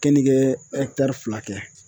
Kenikee fila kɛ